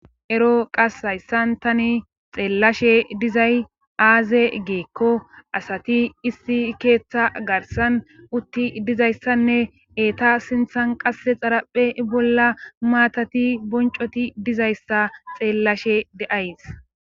ero qas hayssan tani xeellashe dizay aaze giikko asati issi keeththa garsan utti dizayssanne eeta sinthan qasse xaraphe bolla maatati boncoti dizayssa xeellashe de7ays.